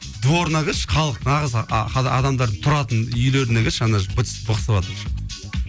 дворына кірші халық нағыз адамдардың тұратын үйлеріне кірші ана жер быт шыт бықсыватыр